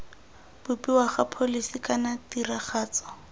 bopiwa ga pholisi kana tiragatso